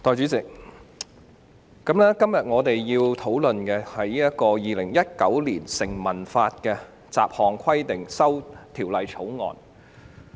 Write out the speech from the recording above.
代理主席，我們今天要討論的是《2019年成文法條例草案》。